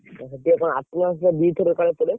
ସିଏ କଣ attendance ଟା ଦିଥର କାଳେ ପଡେ?